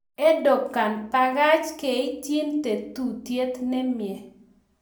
Erdogan: ' Bagach keityin tetutiet nemie'